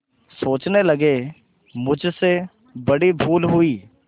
सोचने लगेमुझसे बड़ी भूल हुई